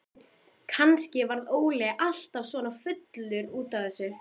Kannski varð Óli alltaf svona fullur út af þessu.